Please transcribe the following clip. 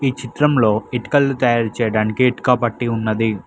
ఈ చిత్రంలో ఇటుకలు తయారు చేయడానికి ఇటుకబట్టి ఉన్నది.